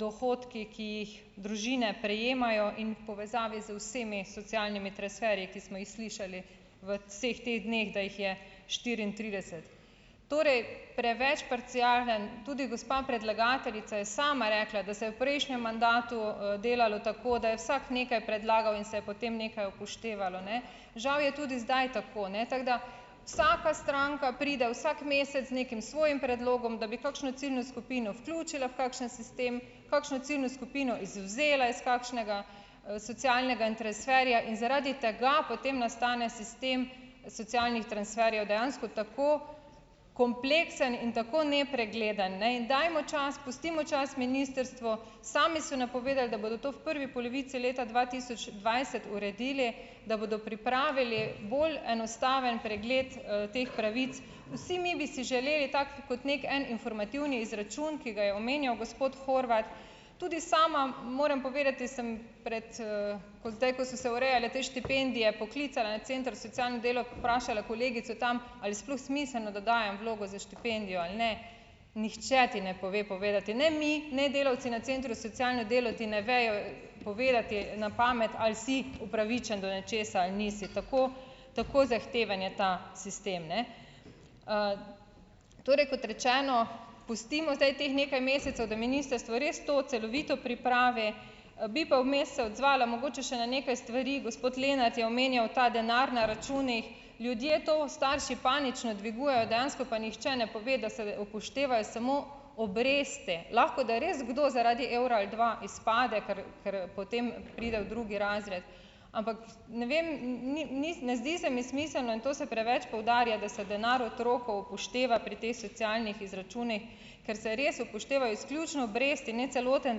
dohodki, ki jih družine prejemajo in v povezavi z vsemi socialnimi transferji, ki smo jih slišali v vseh teh dneh, da jih je štiriintrideset, torej preveč parcialen. Tudi gospa predlagateljica je sama rekla, da se je v prejšnjem mandatu, delalo tako, da je vsak nekaj predlagal in se je potem nekaj upoštevalo, ne, žal je tudi zdaj tako, ne, tako da. Vsaka stranka pride vsak mesec z nekim svojim predlogom, da bi kakšno ciljno skupino vključila v kakšen sistem, kakšno ciljno skupino izvzela iz kakšnega, socialnega transferja in zaradi tega potem nastane sistem socialnih transferjev. Dejansko tako kompleksen in tako nepregleden, ne. In dajmo čas, pustimo čas ministrstvu. Sami so napovedali, da bodo to v prvi polovici leta dva tisoč dvajset uredili, da bodo pripravili bolj enostaven pregled, teh pravic. Vsi mi bi si želeli tako kot neki en informativni izračun, ki ga je omenjal gospod Horvat. Tudi sama moram povedati, sem prej, kot zdaj, ko so se urejale te štipendije, poklicala na center za socialno delo, vprašala kolegico tam, ali je sploh smiselno, da dajem vlogo za štipendijo ali ne. Nihče ti ne pove povedati, ne mi ne delavci na centru socialno delo, ti ne vejo povedati na pamet, ali si upravičen do nečesa ali nisi, tako tako zahteven je ta sistem, ne. Torej kot rečeno, pustimo zdaj teh nekaj mesecev, da ministrstvo res to celovito pripravi. Bi pa vmes se odzvala mogoče še na nekaj stvari. Gospod Lenart je omenjal ta denar na računih. Ljudje to, starši panično dvigujejo, dejansko pa nihče ne pove, da se upoštevajo samo obresti. Lahko, da je res kdo zaradi evra ali dva izpade, ker ker potem pride v drugi razred, ampak ne vem, ni ni ne zdi se mi smiselno in to se preveč poudarja, da se denar otrok upošteva pri teh socialnih izračunih, ker se res upoštevajo izključno obresti in ne celoten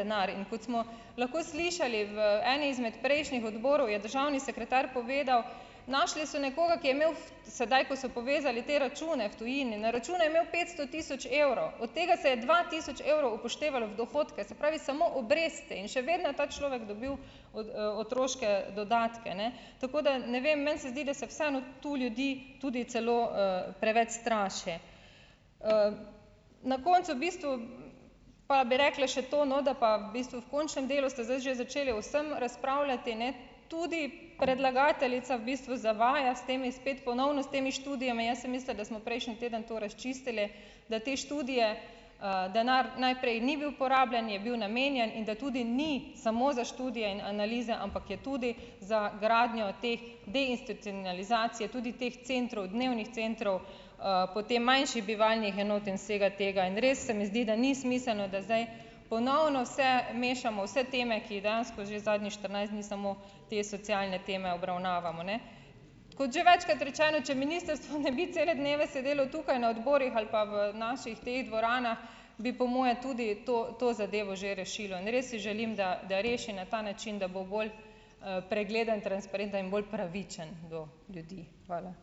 denar. In kot smo lahko slišali v eni izmed prejšnjih odborov, je državni sekretar povedal: "Našli so nekoga, ki je imel sedaj, ko so povezali te račune v tujini, na računu je imel petsto tisoč evrov, od tega se je dva tisoč evrov upoštevalo v dohodke, se pravi, samo obresti, in še vedno je ta človek dobil od, otroške dodatke." Ne, tako da ne vem, meni se zdi, da se vseeno tu ljudi tudi celo, preveč straši. Na koncu v bistvu pa bi rekla še to, no, da pa v bistvu v končnem delu ste zdaj že začeli o vsem razpravljati, ne, tudi predlagateljica v bistvu zavaja s temi spet ponovno s temi študijami. Jaz sem mislila, da smo prejšnji teden to razčistili, da te študije ... Denar najprej ni bil porabljen, je bil namenjen in da tudi ni samo za študije in analize, ampak je tudi za gradnjo teh deinstitucionalizacije tudi teh centrov, dnevnih centrov, potem manjši bivalnih enot in vsega tega. In res se mi zdi, da ni smiselno, da zdaj ponovno vse mešamo vse teme, ki jih dejansko že zadnjih štirinajst dni samo te socialne teme obravnavamo, ne. Kot že večkrat rečeno, če ministrstvo ne bi cele dneve sedelo tukaj na odborih ali pa v naših teh dvoranah, bi po moje tudi to to zadevo že rešilo. In res si želim, da da reši na ta način, da bo bolj, pregleden, transparenten in bolj pravičen do ljudi. Hvala.